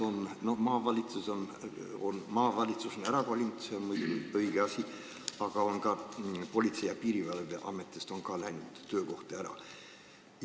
Maavalitsus on ära kolinud – see on muidugi õige asi –, aga on ka Politsei- ja Piirivalveametis töökohti kadunud.